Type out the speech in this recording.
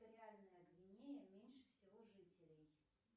экваториальная гвинея меньше всего жителей